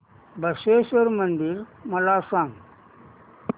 बसवेश्वर मंदिर मला सांग